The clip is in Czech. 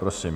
Prosím.